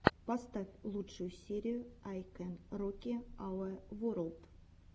поставь лучшую серию ай кэн роки ауэ ворлд